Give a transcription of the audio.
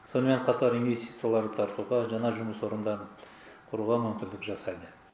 сонымен қатар инвестицияларды тартуға жаңа жұмыс орындарын құруға мүмкіндік жасайды